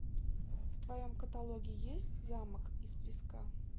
в твоем каталоге есть замок из песка